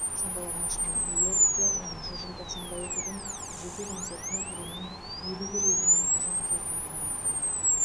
сондай ақ әншінің нью йоркте оныншы желтоқсанда өтетін жеке концертіне әлемнің елу бір елінен жанкүйерлер барады